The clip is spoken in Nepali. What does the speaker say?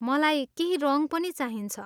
मलाई केही रङ पनि चाहिन्छ।